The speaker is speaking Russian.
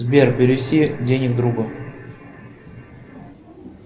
сбер перевести денег другу